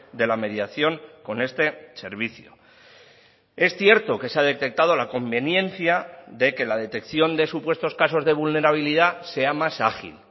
de la mediación con este servicio es cierto que se ha detectado la conveniencia de que la detección de supuestos casos de vulnerabilidad sea más ágil